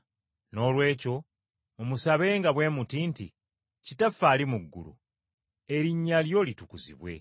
Noolwekyo mumusabenga bwe muti nti, Kitaffe ali mu ggulu, Erinnya Lyo litukuzibwe.